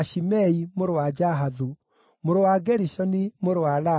mũrũ wa Jahathu, mũrũ wa Gerishoni, mũrũ wa Lawi;